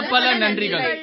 அனைவரும் பலப்பல நன்றிகள்